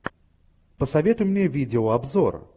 посоветуй мне видеообзор